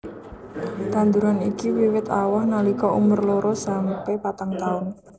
Tanduran iki wiwit awoh nalika umur loro sampe patang taun